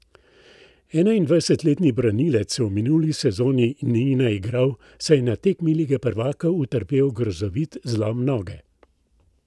Enaindvajsetletni branilec se v minuli sezoni ni naigral, saj je na tekmi lige prvakov utrpel grozovit zlom noge.